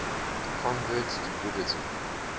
converts to buddhism